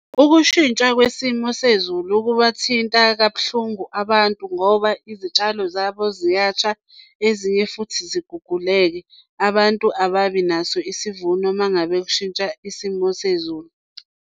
Ukushintsha kwesimo sezulu kubathinta kabuhlungu abantu ngoba izitshalo zabo ziyasha ezinye futhi ziguguleke. Abantu ababinaso isivuno uma ngabe kushintsha isimo sezulu.